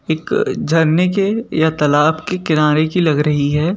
एक झरने के या तालाब के किनारे की लग रही है।